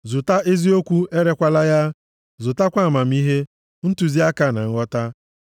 Zụta eziokwu, erekwala ya, zụtakwa amamihe, ntụziaka, na nghọta.